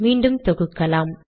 மீண்டும் தொகுக்கலாம்